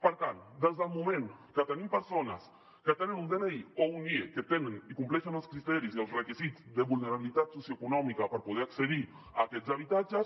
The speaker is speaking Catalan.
per tant des del moment que tenim persones que tenen un dni o un nie que tenen i compleixen els criteris i els requisits de vulnerabilitat socioeconòmica per poder accedir a aquests habitatges